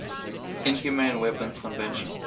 inhumane weapons convention